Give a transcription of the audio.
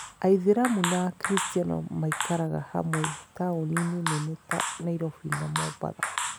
Aithĩramu na Akristiano maikaraga hamwe taũni-inĩ nene ta Nairobi na Mombasa.